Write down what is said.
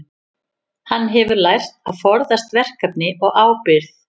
Hann hefur lært að forðast verkefni og ábyrgð.